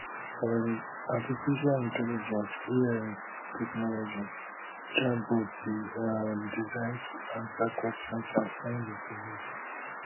um artificial intelligence ai technology chatbots dey um designed to answer questions and find information